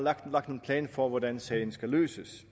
er lagt en plan for hvordan sagen skal løses